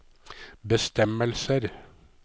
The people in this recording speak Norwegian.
bestemmelser